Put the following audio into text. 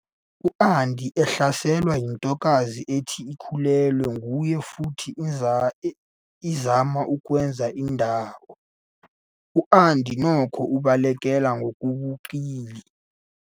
U-Andy uhlaselwe yintokazi ethi ikhulelwe nguye futhi izama ukwenza indawo, U-Andy nokho ubalekela ngobuqili.